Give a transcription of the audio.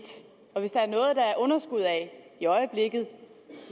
og hvis der er noget der er underskud af i øjeblikket